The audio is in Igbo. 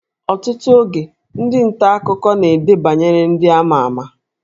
Ọtụtụ oge, ndị nta akụkọ na-ede banyere ndị a ma ama